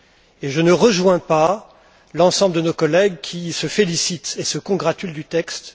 Et je ne rejoins pas l'ensemble de nos collègues qui se félicitent et se congratulent du texte.